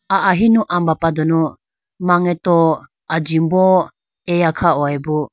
Ahinu ambapa dunu mangeto ajimbo eya kha hoyibo.